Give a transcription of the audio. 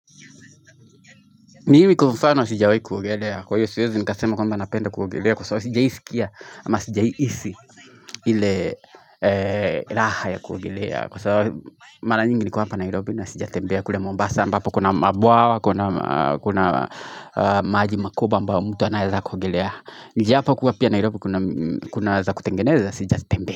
Nimi kufano sija wei kuogelea kwa hiyo siwezi nikasema kwamba napenda kuogelea kwa sawa sija iskia ama sija isi hile raha ya kuogelea kwa sawa mala nyingi niko hapa Nairobi na sija tembea kule Mombasa ambapo kuna mabwawa kuna maaji makoba ambapo mtu anayaza kuogelea Nijia hapa kuwa pia Nairobi kuna waza kutengeneza sijatembea.